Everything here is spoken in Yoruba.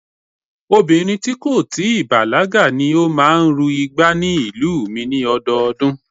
Obìnrin tí kò tí ì bàlágà ni ó máa ń ru igbá ní ìlú mi ni ọdọọdún